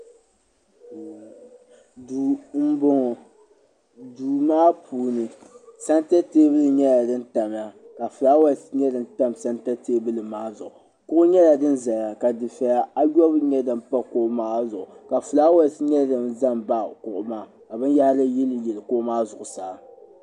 duu m bɔŋɔ duu maa puuni santa tɛbuli nyɛla di tamya ka fulawɛse nyɛ din tam santa tɛbuli maa zuɣu kuɣu nyɛla din zaya ka difɛya ayɔbu nyɛ din pa kuɣu maa zuɣu ka fulawɛse nyɛ din za m baɣi kuɣu maa ka binyɛhiri yili yili kuɣu maa zuɣu saa